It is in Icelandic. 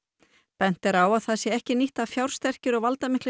bent er á að það sé ekki nýtt að fjársterkir og valdamiklir